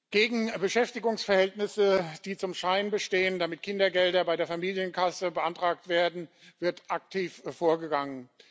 Gegen Beschäftigungsverhältnisse, die zum Schein bestehen, damit Kindergelder bei der Familienkasse beantragt werden, wird aktiv hervorgegangen.